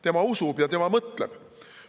Tema usub ja tema mõtleb.